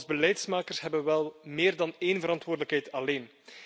Als beleidsmakers hebben we wel meer dan één verantwoordelijkheid alleen.